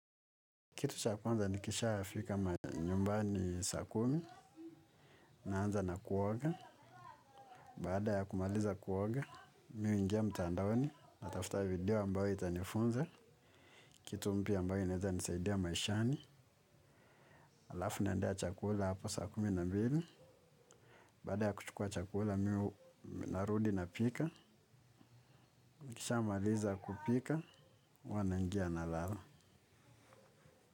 Kitu cha kwanza nikishafika ma nyumbani saa kumi, naanza na kuoga, baada ya kumaliza kuoga, mimi huingia mtandaoni, natafuta video ambayo itanifunza, kitu mpya ambayo inaweza nisaidia maishani, alafu naendea chakula hapo saa kumi na mbili, baada ya kuchukua chakula mimi narudi napika, nikisha maliza kupika, huwa naingia nalala.